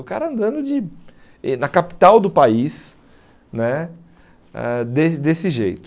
O cara andando de eh na capital do país né, ãh des desse jeito.